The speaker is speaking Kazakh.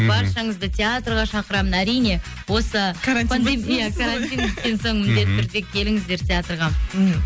баршаңызды театрға шақырамын әрине осы карантин біткен соң міндетті түрде келіңіздер театрға мхм